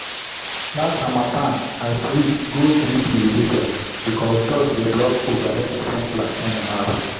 last harmattan i switch go drip irrigation because dust dey block overhead sprinkler anyhow.